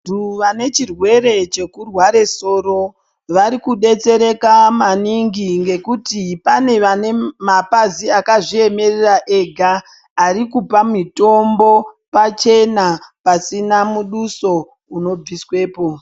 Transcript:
Vantu vanechirwere chekurwara soro varu kubetsereka maningi. Ngekuti panevane mapazi akazviemerera ega arikupa mitombo pachena pasina muduso unobiswepo.